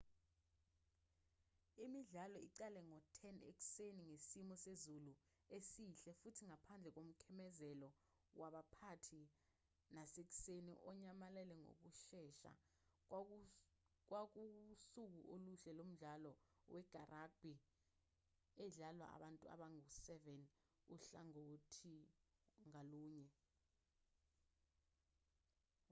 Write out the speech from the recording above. imidlalo iqale ngo-10:00 ekuseni ngesimo sezulu esihle futhi ngaphandle komkhemezelo waphakathi nasekuseni onyamalale ngokushesha kwakuwusuku oluhle lomdlalo weragbhi edlalwa abantu abangu-7 uhlangothi ngalunye